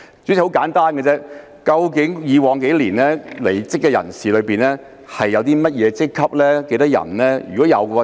主席，很簡單，究竟過去數年的離職人士屬於甚麼職級及共有多少人？